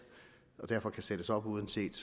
og som derfor kan sættes op uanset